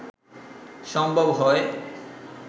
সম্ভব হয়